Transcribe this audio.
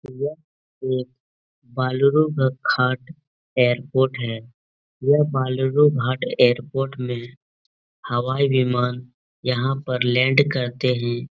यह एक वालरू घाट एर्पोट है। यह वालुरु घाट एर्पोट में हवाई विमान यहां पर लैंड करते है।